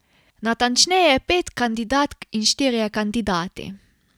Natančneje pet kandidatk in štirje kandidati.